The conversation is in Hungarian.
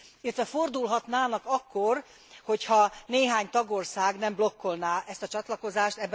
Illetve fordulhatnának akkor, hogy ha néhány tagország nem blokkolná ezt a csatlakozást.